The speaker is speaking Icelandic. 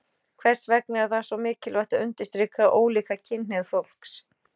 Hvers vegna er það svo mikilvægt að undirstrika ólíka kynhneigð fólks?